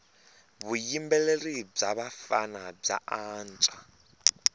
vuyimbeleri bya vafana bya antswa